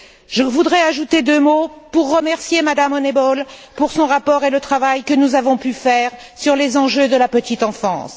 Je voudrais ajouter deux mots pour remercier Mme Honeyball pour son rapport et le travail que nous avons pu faire sur les enjeux de la petite enfance.